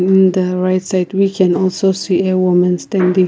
in the right side we can also see a women standing.